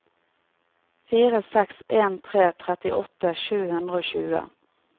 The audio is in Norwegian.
fire seks en tre trettiåtte sju hundre og tjue